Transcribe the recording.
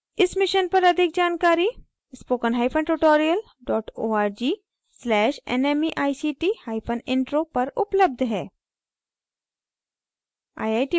इस मिशन पर अधिक जानकारी